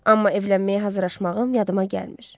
Amma evlənməyə hazırlaşmağım yadına gəlmir.